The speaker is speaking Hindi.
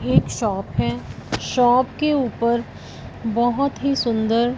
ये एक शॉप है शॉप के ऊपर बहोत ही सुंदर--